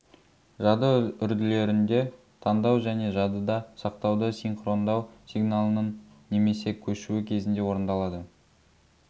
жады үрділерінде таңдау және жадыда сақтауды синхрондау сигналының немесе көшуі кезінде орындалады